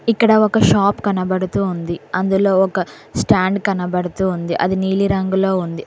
ఇక్కడ ఒక షాప్ కనబడుతూ ఉంది అందులో ఒక స్టాండ్ కనబడుతూ ఉంది అది నీలిరంగులో ఉంది.